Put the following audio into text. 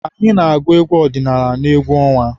Anyị na-agụ egwu ọdịnala n'egwu ọnwa.